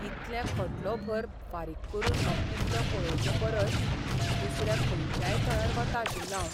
इतले खोटलोभर फारीक करून हो किल्लो पळोवचे परस दुसऱ्या खंयच्याय थळार वता आशिल्लों हांव.